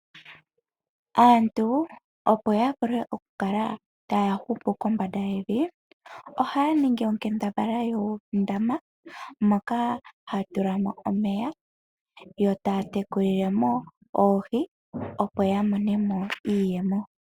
Aantu opo yavule oku kala taya hupu kombanda yevi, ohaningi onkambadhala yuundama moka hatulamo omeya yo taya tekulilemo oohii opo yamonemo iiyemo.